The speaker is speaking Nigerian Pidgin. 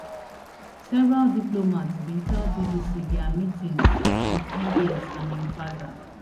several diplomats bin tell bbc dia meetings wit mbs and im father